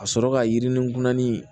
Ka sɔrɔ ka yirini gulan ni